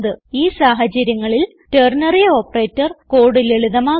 ഈ സാഹചര്യങ്ങളിൽ ternary operator code ലളിതമാക്കുന്നു